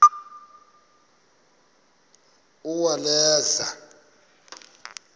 uwaleza